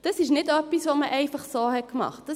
Das ist nicht etwas, das man einfach so gemacht hat.